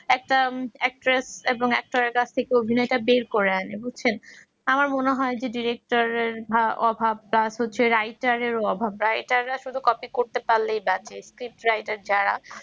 একটা actress এবং actor এর কাছ থেকে অভিনয়টা বের করে আনে বুঝছেন আমার মনে হয় যে director এর অভাব plus হচ্ছে writer র অভাব writer রা শুধু copy করতে পারলেই বাঁচে script writer যারা